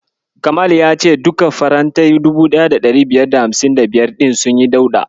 Kamal ya ce duka farantai 1555 ɗin sunyi dauɗa.